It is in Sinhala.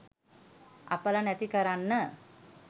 අපල නැති කරන්න